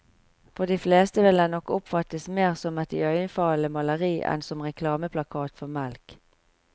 For de fleste vil den nok oppfattes mer som et iøynefallende maleri enn som reklameplakat for melk.